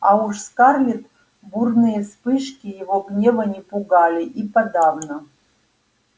а уж скарлетт бурные вспышки его гнева не пугали и подавно